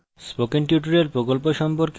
spoken tutorial প্রকল্প সম্পর্কে অধিক জানতে